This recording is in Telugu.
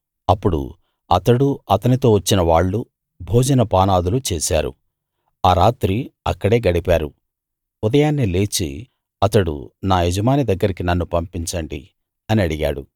అప్పుడు అతడూ అతనితో వచ్చిన వాళ్ళూ భోజన పానాదులు చేశారు ఆ రాత్రి అక్కడే గడిపారు ఉదయాన్నే లేచి అతడు నా యజమాని దగ్గరికి నన్ను పంపించండి అని అడిగాడు